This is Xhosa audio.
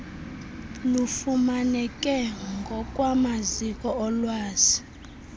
lufumaneke ngokwamaziko olwazi